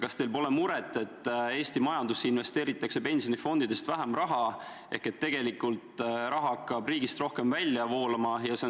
Kas teil pole muret, et Eesti majandusse investeeritakse pensionifondidest vähem raha ehk et tegelikult hakkab raha riigist rohkem välja voolama?